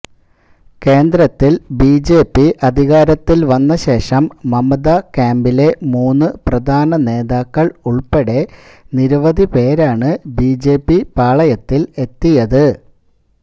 കേന്ദ്രത്തിൽ ബിജെപി അധികാരത്തിൽ വന്നശേഷം മമത ക്യാമ്പിലെ മൂന്ന് പ്രധാന നേതാക്കൾ ഉൾപ്പടെ നിരവധിപേരാണ് ബിജെപി പാളയത്തിൽ എത്തിയത്